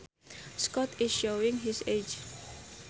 Scott is showing his age